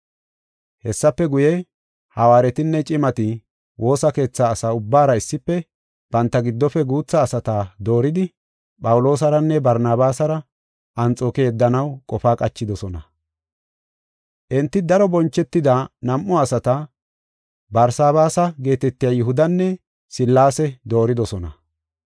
Hessafe guye, hawaaretinne cimati woosa keetha asa ubbaara issife banta giddofe guutha asata dooridi Phawuloosaranne Barnabaasara Anxooke yeddanaw qofa qachidosona. Enti daro bonchetida nam7u asata Barsabaasa geetetiya Yihudanne Sillaase dooridosona.